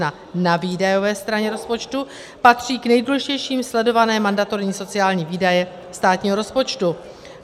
Na výdajové straně rozpočtu patří k nejdůležitějším sledované mandatorní sociální výdaje státního rozpočtu.